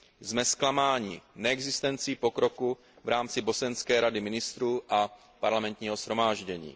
Jsme zklamáni neexistencí pokroku v rámci bosenské Rady ministrů a parlamentního shromáždění.